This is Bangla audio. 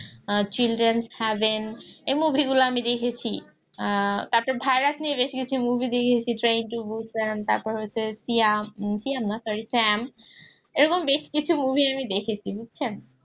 আহ children's heaven এই movie গুলো আমি দেখেছি আহ তারপর virus নিয়ে বেশকিছু movie দেখেছি train to busan তারপর হচ্ছে না সরি এরকম বেশ কিছু movie আমি দেখেছি বুঝছেন?